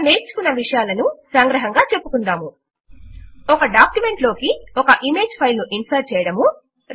మనము నేర్చుకున్న విషయమును సంగ్రహముగా చెపుదాము160 ఒక డాక్యుమెంట్ లోకి ఒక ఇమేజ్ ఫైల్ ను ఇన్సర్ట్ చేయడము